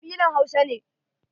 Kabilan Hausa ne.